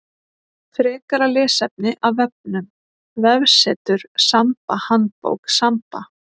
Frekara lesefni af vefnum: Vefsetur Samba Handbók Samba.